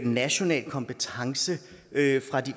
national kompetence